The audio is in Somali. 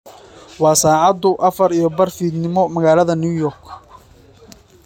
Waa saacadu afar iyo bar fiidnimo magaalada New York.